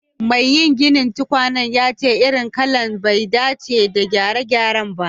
Maiginin tukwanen yace irin lakan bai dace yin gyare-gyare ba.